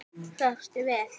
Svafstu vel?